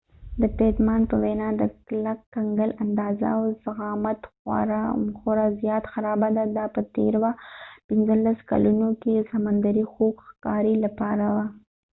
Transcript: د پیټمان په وینا، د کلک کنګل اندازه او ضخامت خورا زيات خرابه ده، دا په تیرو ۱۵ کلونو کې د سمندري خوګ ښكاري لپاره وه